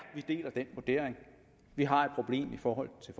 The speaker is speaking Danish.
de deler den vurdering vi har et problem i forhold til